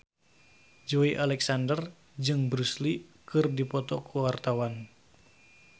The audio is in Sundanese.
Joey Alexander jeung Bruce Lee keur dipoto ku wartawan